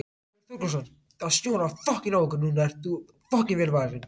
Björn Þorláksson: Það snjóar á okkur núna en þú ert vel varin?